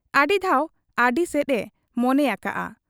ᱟᱹᱰᱤ ᱫᱷᱟᱣ ᱟᱹᱰᱤᱥᱮᱫ ᱮ ᱢᱚᱱᱮᱭᱟᱠᱟᱜ ᱟ ᱾